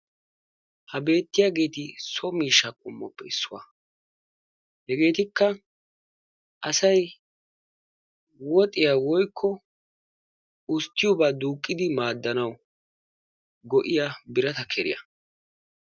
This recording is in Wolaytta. Ha beettiyaageeti so miishsha qommotuppe issuwaa. hgeetikka asay woxxiyaa woykko usttiyooba duuqidi maadanaw go''iyaa birata keriyaa.